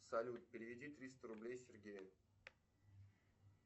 салют переведи триста рублей сергею